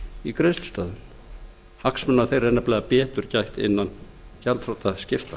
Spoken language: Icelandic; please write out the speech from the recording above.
í greiðslustöðvun hagsmuna þeirra er nefnilega betur gætt innan gjaldþrotaskipta